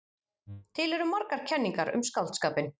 Til eru margar kenningar um skáldskapinn.